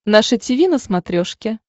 наше тиви на смотрешке